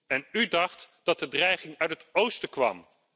En u dacht dat de dreiging uit het oosten kwam?